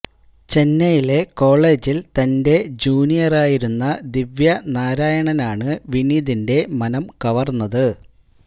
ചെന്നൈയിലെ കോളെജില് തന്റെ ജൂനിയറായിരുന്ന ദിവ്യ നാരായണനാണ് വിനീതിന്റെ മനം കവര്ന്നത്